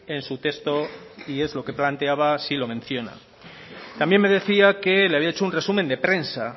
en su texto y es lo que planteaba sí lo menciona también me decía que le había hecho un resumen de prensa